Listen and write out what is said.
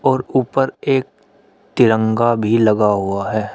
और ऊपर एक तिरंगा भी लगा हुआ है।